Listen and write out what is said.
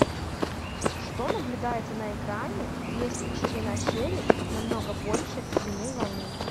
что наблюдается на экране если ширина щели намного больше длины волны